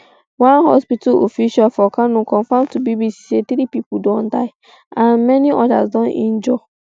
one hospital official for kano confirm to bbc say three pipo don die and um many odas don injure